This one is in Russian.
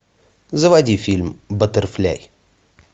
заводи фильм баттерфляй